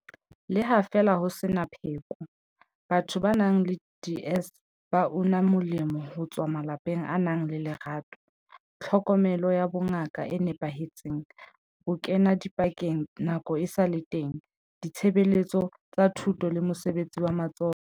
Le ha feela ho sena pheko, batho ba nang le DS ba una molemo ho tswa malapeng a nang le lerato, tlhokomelo ya bongaka e nepahetseng, bokenadipakeng nako esale teng, ditshebeletso tsa thuto le mosebetsi wa matsoho.